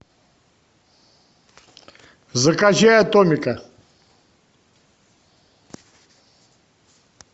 закачай атомика